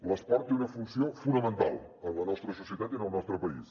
l’esport té una funció fonamental en la nostra societat i en el nostre país